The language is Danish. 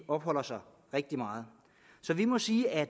opholder sig rigtig meget så vi må sige at